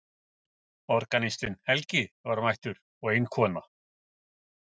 Organistinn Helgi var mættur og ein kona.